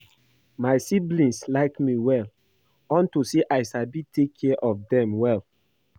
My siblings like me well unto say I sabi take care of dem well